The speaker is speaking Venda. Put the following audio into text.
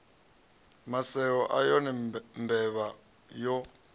maseo a yone mbevha yo